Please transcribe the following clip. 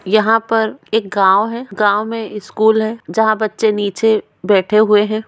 यहाँ पर एक गाँव हैगाँव में स्कूल हैजहाँ बच्चे नीचे बैठे हुए है।